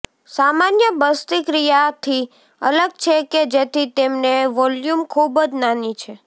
સામાન્ય બસ્તિક્રિયા થી અલગ છે કે જેથી તેમને વોલ્યુમ ખૂબ જ નાની છે